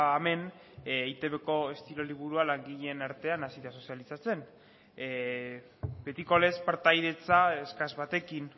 hemen eitbko estilo liburua langileen artean hasi da sozializatzen betiko lez partaidetza eskas batekin